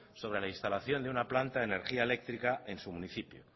sobre la instalación de una planta de energía eléctrica en su municipio